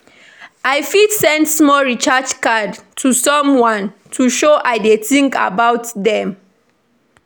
I fit send small recharge card to someone to show I dey think about dem.